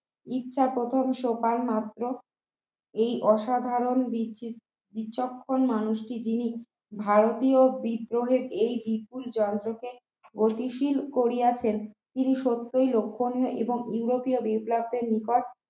এই অসাধারণ বিচ বিচক্ষণ মানুষটি দিয়ে ভারতের বিজ্ঞানের এই বিপুল জয় স্রোতে গতিশীল করিয়াছেন তিনি সত্যই লক্ষণীয় এবং ইউরোপীয় বিপ্লবের নিকট